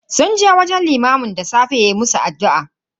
Sun je wajen limamin da safe ya musu addu'a.